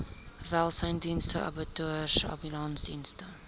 welsynsdienste abattoirs ambulansdienste